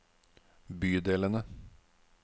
bydelene